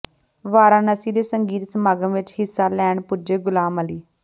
ਵਾਰਾਣਸੀ ਦੇ ਸੰਗੀਤ ਸਮਾਗਮ ਵਿੱਚ ਹਿੱਸਾ ਲੈਣ ਪੁੱਜੇ ਗ਼ੁਲਾਮ ਅਲੀ